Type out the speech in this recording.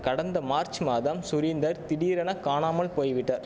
கடந்த மார்ச் மாதம் சுரீந்தர் திடீரென காணாமல் போய் விட்டா